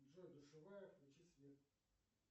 джой душевая включи свет